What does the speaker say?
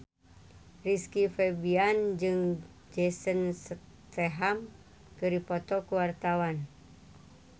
Rizky Febian jeung Jason Statham keur dipoto ku wartawan